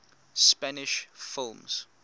spanish films